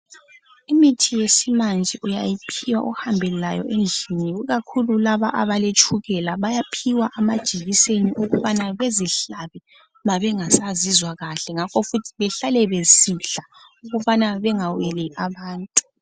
Imithi yakulezinsuku uyayiphiwa uhambe layo endlini ikakhulu laba abaletshukela bayaphiwa amajekiseni ukubana bezihlabe mabengasazizwa kuhle. Ngakho futhi behlale besidla ukubana bengaweli abantu